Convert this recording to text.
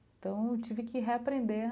Então, tive que reaprender